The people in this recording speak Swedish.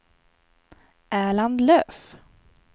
Erland Löf